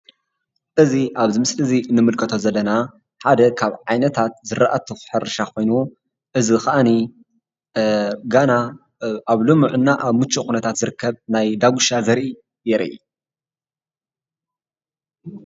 እዚ አብዚ ምስሊ እዚ ንምልክቶ ዘለና ሓደ ካብ ዓይነታት ዝራእቲ ሕርሻ ኮይኑ እዚ ከአኒ ገና አብ ልሙዕ እና አብ ሙችው ኩነታት ዝርከብ ናይ ዳጉሻ ዘሪኢ የርኢ፡፡